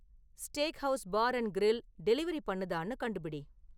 steakhouse bar and grill delivery பண்ணுதான்னு கண்டுபிடி